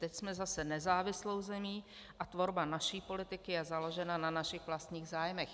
Teď jsme zase nezávislou zemí a tvorba naší politiky je založena na našich vlastních zájmech.